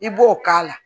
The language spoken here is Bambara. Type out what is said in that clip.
I b'o k'a la